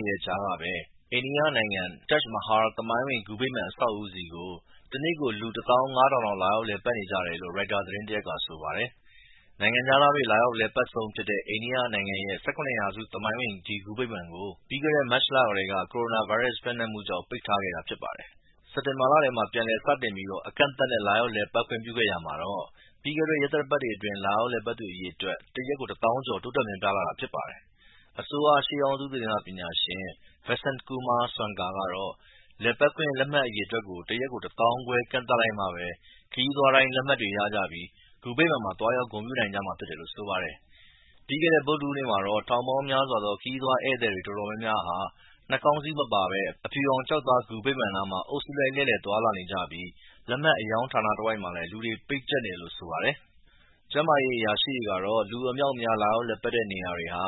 ေတဲ့ကြားကပဲ အိန္ဒိယနိုင်ငံမှာ Taj Mahal သမိုင်းဝင်ဂူဗိမာန်အဆောက်အဦးဆီကို တနေ့ကို လူ တသောင်းငါးထောင်လောက် လာရောက်လည်ပတ်နေကြတယ်လို့ ရိုက်တာသတင်းတရပ်ကဆိုပါတယ်။ နိုင်ငံခြားသားတွေလာရောက်အလည်ပတ်ဆုံး အိန္ဒိယနိုင်ငံရဲ့ ၁၇ ရာစု သမိုင်းဝင် ဒီဂူဗိမာန်ကို ပြီးခဲ့တဲ့ မတ်လကတည်းက ကိုရိုနာဗိုင်းရပ်စ်ပျံ့နှံ့မှုကို ထိန်းချုပ်ဖို့အတွက် ပိတ်ထားခဲ့တာဖြစ်တယ်။ ပြီးခဲ့တဲ့ စက်တင်ဘာလထဲမှာ ပြန်လည်စတင်ပြီး အကန့်အသတ်နဲ့လာရောက်လည်ပတ်ခွင့်ခဲ့ရာမှ ပြီးခဲ့တဲ့ ရက်သတ္တပတ်တွေအတွင်း အရေအတွက် တရက် တသောင်းကျော် တိုးတက်များပြားလာတာဖြစ်ပါတယ်။ အစိုးရ ရှေးဟောင်းသုတေသနပညာရှင် Vasant Kumar Swarnkar ကတော့ လည်ပတ်ခွင့်လက်မှတ်အရေအတွက်ကို တရက် တသောင်းခွဲကန့်သတ်လိုက်မှပဲ ခရီးသွားတိုင်း လက်မှတ်တွေရပြီး ဂူဗိန်မာန်မှာ သွားရောက်ဂုဏ်ပြုနိုင်မှာဖြစ်တယ်လို့ဆိုပါတယ်။ ပြီးခဲ့တဲ့ ဗုဒ္ဓဟုူးနေ့မှာတော့ ထောင်ပေါင်းများစွာသော ခရီးသွားဧည့်သည်တွေတော်တော်များများဟာ နှာခေါင်းစည်းမပါပဲ အဖြူရောင် ကျောက်သားဂူဗိမာန်နားမှာ အုပ်စုလိုက်လှည့်လည်နေကြပြီး လက်မှတ်အရောင်းဌာနတဝိုက်မှာလည်း လူတွေ ပိတ်ကျပ်နေတယ်လို့ဆိုပါတယ်။ ကျန်းမာရေးအရာရှိတွေကတော့ လူအမြောက်အမြားလာရောက်လည်ပတ်တဲ့နေရာတွေဟာ